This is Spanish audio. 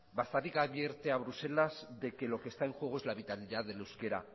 bastarrica advierte a bruselas de que lo que está en juego es la vitalidad del euskera